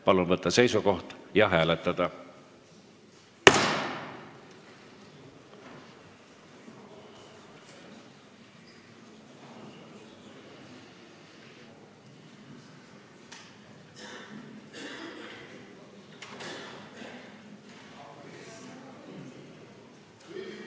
Palun võtta seisukoht ja hääletada!